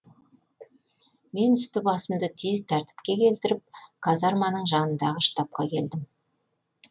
мен үсті басымды тез тәртіпке келтіріп казарманың жанындағы штабқа келдім